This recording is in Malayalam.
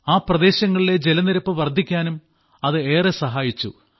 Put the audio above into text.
ആ പ്രദേശങ്ങളിലെ ജലനിരപ്പ് വർദ്ധിക്കാനും അത് ഏറെ സഹായിച്ചു